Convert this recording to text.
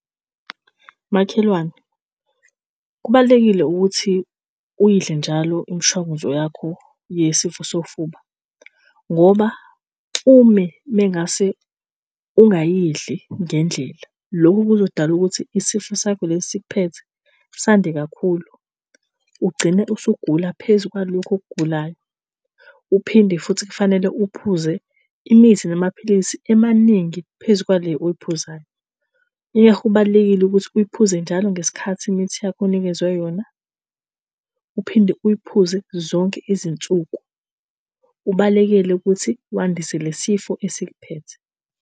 Makhelwane, kubalulekile ukuthi uyidle njalo imishanguzo yakho yesifo sofuba ngoba ume mengase ungayidli ngendlela, lokhu kuzodala ukuthi isifo sakho lesi esikuphethe sande kakhulu, ugcine usungula phezu kwalokho okugulayo. Uphinde futhi kufanele uphuze imithi namaphilisi amaningi phezu kwale oyiphuzayo. Yingakho kubalulekile ukuthi uyiphuze njalo ngesikhathi imithi yakho onikezwe yona uphinde uyiphuze zonke izinsuku. Ubalekele ukuthi uwandise lesi sifo esikuphethe.